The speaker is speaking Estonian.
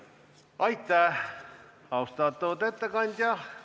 Aitäh, austatud ettekandja!